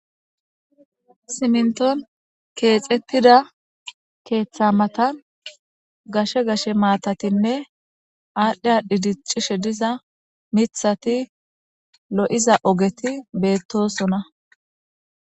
Siminton keexettida keeththa matan gashe gashe maatatinne aadhdhiya dhidiccishe diza mithati lo7iza ogeti beettosona.